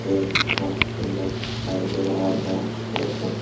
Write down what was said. तो मस्त लग दिखाई दे रहा होगा आप लोगों को।